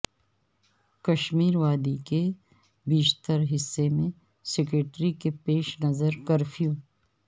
کشمیر وادی کے بیشتر حصے میں سیکورٹی کے پیش نظر کرفیو